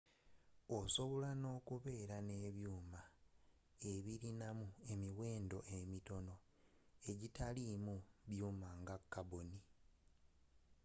osobola n'okuba n'ebyuuma ebirinamu emiwendo emitono egitalimu byuuma nga carbon